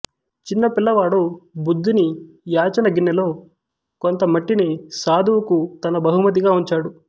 చిన్నపిల్లవాడు బుద్ధుని యాచన గిన్నెలో కొంత మట్టిని సాధువుకు తన బహుమతిగా ఉంచాడు